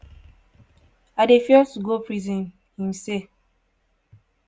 i dey fear to go prison" im say.